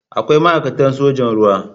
Akwai ma'aikatan sojan ruwa.